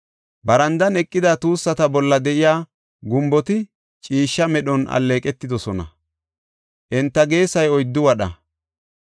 Barandan eqida tuussata bolla de7iya gumboti ciishsha medhon alleeqetidosona; enta geesay oyddu wadha.